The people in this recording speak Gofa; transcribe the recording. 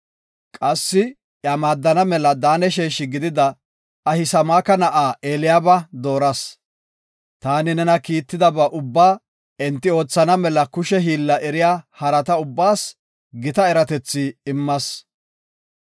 Qassi iya maaddana mela Daane sheeshi gidida Ahisamaaka na7aa Eliyaaba dooras. Taani nena kiittidaba ubbaa enti oothana mela kushe hiilla eriya harata ubbaas gita eratethi immas.